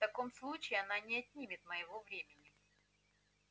в таком случае она не отнимет моего времени